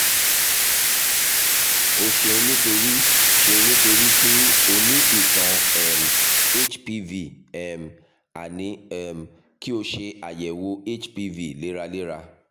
o ṣeunnítorí ṣeunnítorí pé o ní ìtàn um hpv um a ní um kí o ṣe ayẹwo hpv léraléra